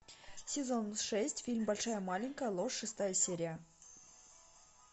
сезон шесть фильм большая маленькая ложь шестая серия